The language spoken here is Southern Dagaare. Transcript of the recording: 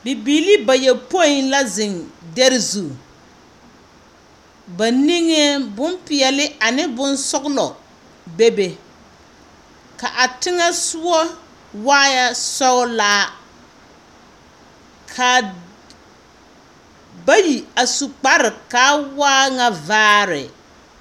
Bibilii bayɔpõĩ la zeŋ dɛre zu. Ba niŋeŋ bompeɛle ane bonsɔgelɔ, bebe, ka a teŋɛsogɔ waa nyɛ sɔglaa, ka, bayi a su kparre kaa waa nyɛ vaare.